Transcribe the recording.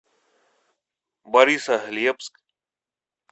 борисоглебск